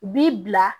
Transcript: U b'i bila